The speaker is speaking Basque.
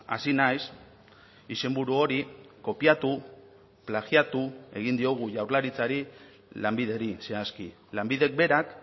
hasi naiz izenburu hori kopiatu plagiatu egin diogu jaurlaritzari lanbideri zehazki lanbidek berak